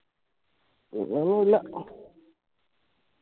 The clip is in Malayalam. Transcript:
പിന്നെ ഒന്നുല്ല